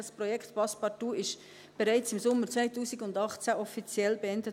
Das Projekt Passepartout wurde bereits im Sommer 2018 offiziell beendet.